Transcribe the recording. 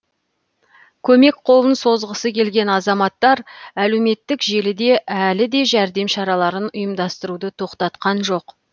көмек қолын созғысы келген азаматтар әлеуметтік желіде әлі де жәрдем шараларын ұйымдастыруды тоқтатқан жоқ